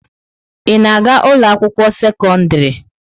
Ị na-aga ụlọ akwụkwọ sekọndrị?